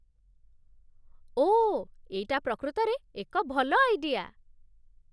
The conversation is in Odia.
ଓଃ ! ଏଇଟା ପ୍ରକୃତରେ ଏକ ଭଲ ଆଇଡିଆ